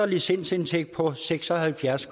licensindtægter på seks og halvfjerds